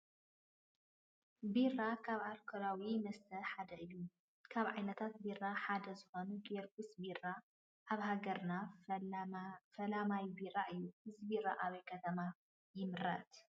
ቢራ ካብ ኣልኮላዊ መስተታት ሓደ እዩ፡፡ ካብ ዓይነታት ቢራ ሓደ ዝኾነ ጊዮርጊስ ቢራ ኣብ ሃገራና ፈላማይ ቢራ እዩ፡፡ እዚ ቢራ ኣበይ ከተማ ይምረት?